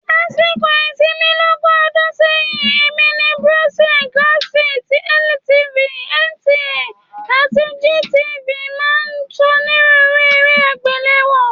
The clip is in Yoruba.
Lásìkò ìsinmi lógún ọdún sẹ́yìn, èmi ni BCOS, Galaxy, LTV, NTA àti GTV máa ń ṣonírúurú eré àgbéléwò.